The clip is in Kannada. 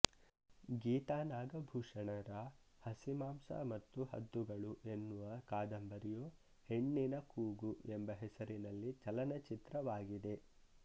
ಗೀತಾ ನಾಗಭೂಷಣರ ಹಸಿಮಾಂಸ ಮತ್ತು ಹದ್ದುಗಳು ಎನ್ನುವ ಕಾದಂಬರಿಯು ಹೆಣ್ಣಿನ ಕೂಗು ಎಂಬ ಹೆಸರಿನಲ್ಲಿ ಚಲನಚಿತ್ರವಾಗಿದೆ